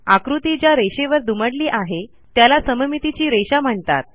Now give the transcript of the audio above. आकृती ज्या रेषेवर दुमडली आहे त्याला सममितीची रेषा म्हणतात